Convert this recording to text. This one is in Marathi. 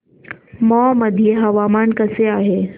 मौ मध्ये हवामान कसे आहे